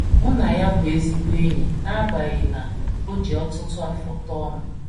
Mụ na ya bụ ezigbo enyi n’agbanyeghị na o ji ọtụtụ afọ tọọ m. ”